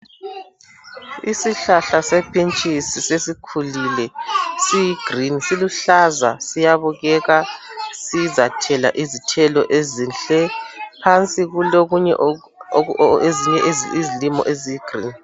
Isihlahla sephintshisi sesikhulile ,siyi green .Siluhlaza siyabukeka ,sizathela izithelo ezinhle. phansi kulokunye ,ezinye izilimo eziyi green .